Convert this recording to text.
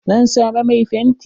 Zan zama mai fenti.